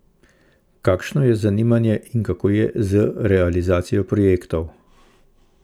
Kakšno je zanimanje in kako je z realizacijo projektov?